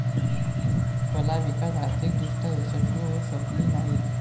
कला विकास आर्थिक दृष्ट्या यशस्वी होऊ शकली नाहीत.